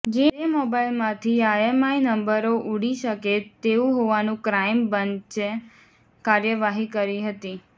જે મોબાઈલમાંથી આઈએમઈઆઈ નંબરો ઉડી શકે તેવુ હોવાનું ક્રાઈમ બન્ચે કાર્યવાહી કરી હતી